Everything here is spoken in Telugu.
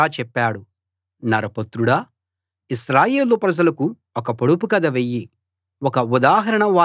నరపుత్రుడా ఇశ్రాయేలు ప్రజలకు ఒక పొడుపు కథ వెయ్యి ఒక ఉదాహరణ వారికి చెప్పు